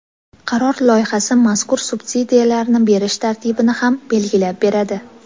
Qaror loyihasi mazkur subsidiyalarni berish tartibini ham belgilab beradi.